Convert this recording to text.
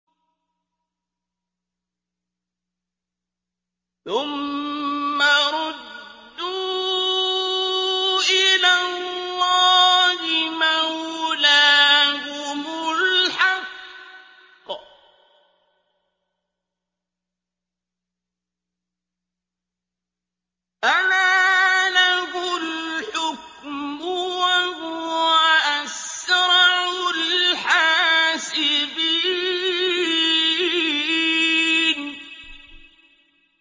ثُمَّ رُدُّوا إِلَى اللَّهِ مَوْلَاهُمُ الْحَقِّ ۚ أَلَا لَهُ الْحُكْمُ وَهُوَ أَسْرَعُ الْحَاسِبِينَ